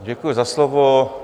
Děkuji za slovo.